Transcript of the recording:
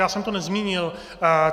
Já jsem to nezmínil.